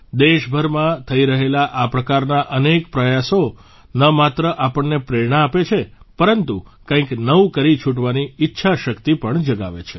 દેશભરમાં થઇ રહેલા આ પ્રકારના અનેક પ્રયાસો ન માત્ર આપણને પ્રેરણા આપે છે પરંતુ કંઇક નવું કરી છુટવાની ઇચ્છા શક્તિ પણ જગાવે છે